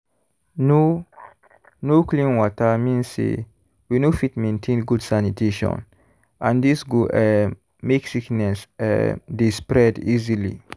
no no clean water mean say we no fit maintain good sanitation and this go um make sickness um dey spread easily.